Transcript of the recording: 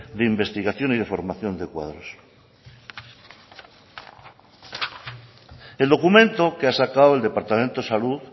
de investigación y de formación de cuadros el documento que ha sacado el departamento de salud